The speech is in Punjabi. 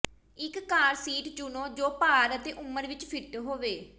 ਇਕ ਕਾਰ ਸੀਟ ਚੁਣੋ ਜੋ ਭਾਰ ਅਤੇ ਉਮਰ ਵਿਚ ਫਿੱਟ ਹੋਵੇ